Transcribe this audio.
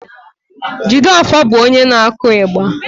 Jideofor bụ onye na-akụ igba